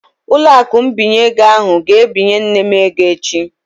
Ụlọakụ mbinye ego ahụ ga-ebinye nne m ego echi